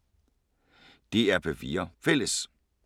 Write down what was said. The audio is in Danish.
DR P4 Fælles